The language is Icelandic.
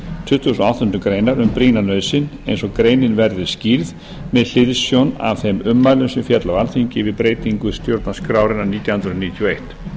tuttugasta og áttundu greinar um brýna nauðsyn eins og greinin verði skýrð með hliðsjón af þeim ummælum sem féllu á alþingi við breytingu stjórnarskrárinnar nítján hundruð níutíu og eitt